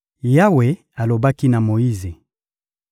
Yawe alobaki na Moyize: